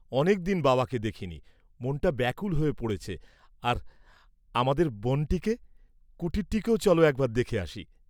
অনেকদিন বাবাকে দেখিনি, মনটা ব্যাকুল হয়ে পড়েছে, আর আমাদের বনটিকে, কুটিরটিকেও চল একবার দেখে আসি।